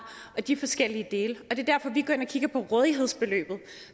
og de forskellige dele og det er derfor vi går ind og kigger på rådighedsbeløbet